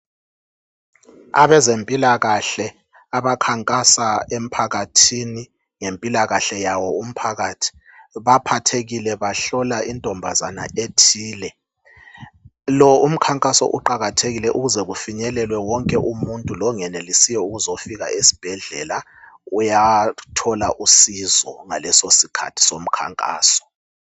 Abezempilakahle abakhankasa emphakathini, ngempilakahle yawo umphakathi. Baphathekile, bahlola intombazana ethile. Lo umkhankaso uqakathekile ukuze kufinyelelwe wonke umuntu longenelisiyo ukuzofika esibhedlela uyathola usizo ngaleso sikhathi somkhankaso.